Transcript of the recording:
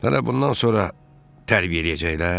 Hələ bundan sonra tərbiyələyəcəklər?